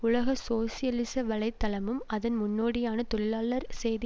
உலக சோசியலிச வலை தளமும் அதன் முன்னோடியான தொழிலாளர் செய்தி